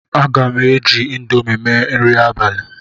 Aga m eji Indomi mee nri abalị